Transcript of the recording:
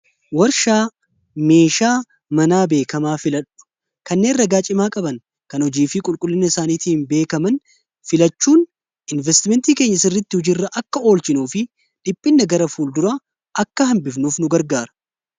warshaa meeshaa manaa beekamaa filadhu kanneen ragaacimaa qaban kan ujiifii qulqullinna isaaniitiihin beekaman filachuun investimentii keenya sirritti hujirra akka oolchinuu fi dhiphinna gara fuul dura akka hambifnuuf nu gargaara